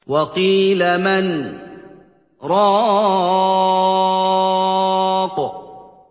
وَقِيلَ مَنْ ۜ رَاقٍ